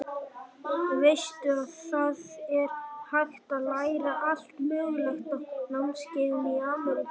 Veistu að það er hægt að læra allt mögulegt á námskeiðum í Ameríku.